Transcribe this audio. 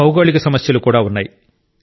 భౌగోళిక సమస్యలు కూడా ఉన్నాయి